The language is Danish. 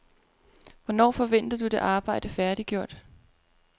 Hvornår forventer du det arbejde færdiggjort?